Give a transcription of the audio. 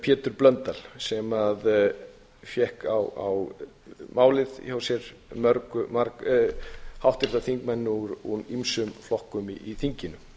pétur blöndal sem fékk á málið hjá sér háttvirtir þingmenn úr ýmsum flokkum í þinginu